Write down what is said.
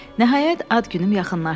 Nəhayət ad günüm yaxınlaşdı.